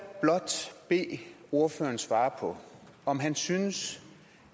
blot bede ordføreren svare på om han synes